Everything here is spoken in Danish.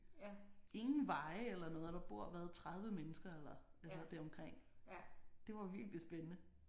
Ingen veje eller noget og der bor hvad 30 mennesker eller hvad hedder deromkring. Det var virkelig spændende